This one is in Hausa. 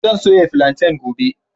Zan soya filanten gobe.